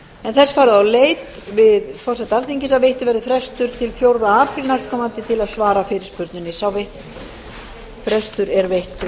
er þess farið á leit við forseta alþingis að veittur verði frestur til fjórða apríl næstkomandi til að svara fyrirspurninni sá frestur er veittur